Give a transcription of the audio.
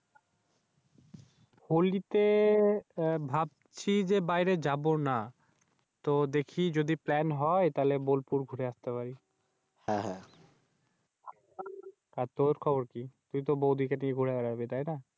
হলিতে ভাবছি যে, বাইরে যাবোনা। তো দেখি যদি Plam হয় তারপর বোলপুর ঘুরে আসতে পারি। আর তুর খবর কি? তুইতো বৌদিকে নিয়ে ঘুরে বেরাবি?